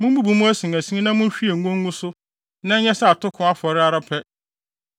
Mummubu mu asinasin na munhwie ngo ngu so na ɛnyɛ sɛ atoko afɔre ara pɛ.